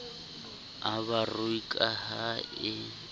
a barui ka ha e